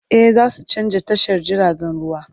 E, za su canza tashar jiragen ruwa.